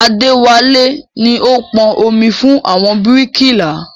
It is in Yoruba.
Adéwálé ni ó pọn omi fún àwọn bíríkìlà